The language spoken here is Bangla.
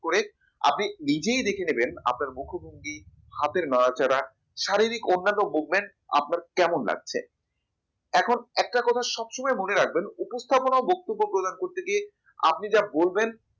করে আপনি নিজেই দেখে নেবেন আপনার মুখভঙ্গি হাতের নাড়াচাড়া শারীরিক অন্যান্য movement আপনার কেমন লাগছে? এখন একটা কথা সবসময় মনে রাখবেন উপস্থাপনা ও বক্তব্য প্রদান করতে গিয়ে আপনি যা বলবেন